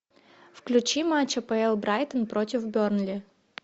включи матч апл брайтон против бернли